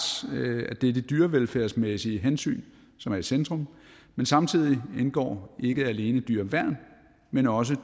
at det er de dyrevelfærdsmæssige hensyn som er i centrum men samtidig indgår ikke alene dyreværn men også